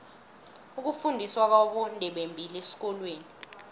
ukufundiswa kwabondebembili esikolweni